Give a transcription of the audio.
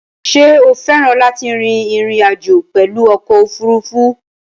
Sé o féràn láti rin ìrìn àjò pèlu okò òfurufú?